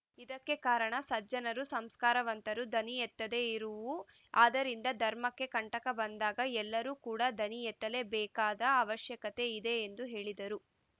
ಇದಕ್ಕೆ ಕಾರಣ ಸಜ್ಜನರು ಸಂಸ್ಕಾರವಂತರು ಧ್ವನಿಯೆತ್ತದೆ ಇರುವು ಆದ್ದರಿಂದ ಧರ್ಮಕ್ಕೆ ಕಂಟಕ ಬಂದಾಗ ಎಲ್ಲರೂ ಕೂಡ ಧ್ವನಿ ಎತ್ತಲೇ ಬೇಕಾದ ಅವಶ್ಯಕತೆ ಇದೆ ಎಂದು ಹೇಳಿದರು